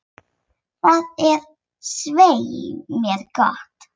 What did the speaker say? Það er svei mér gott.